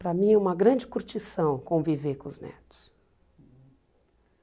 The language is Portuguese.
Para mim é uma grande curtição conviver com os netos.